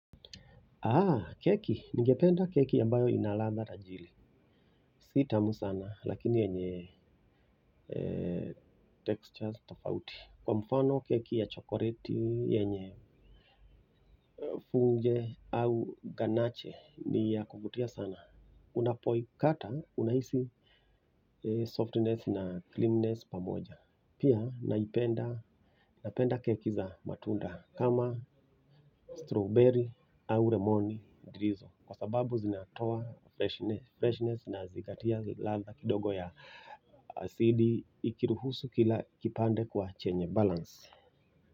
Keki, nigependa keki ambayo ina ladha tajiri si tamu sana lakini yenye textures tofauti kwa mfano keki ya chokoleti yenye funge au ganache ni ya kuvutia sana unapoikata unahisi softness na cleanness pamoja pia naipenda napenda keki za matunda kama strawberry au lemon drizzle kwa sababu zinatoa freshness freshness nazigatia ladha kidogo ya asidi ikiruhusu kila kipande kuwa chenye balance.